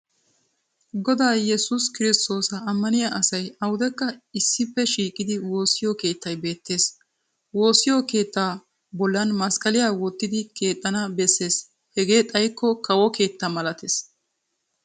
Godaa Yesuusi Kirsttoosa ammaniya asay awudekka issippe shiiqidi woosiyo keettay beettees. Woossiyo keettaa hagga bollan masqqaliya wottidi keexxana bessees hegee xaykko kawo keettan malattees.